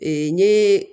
Ee n ye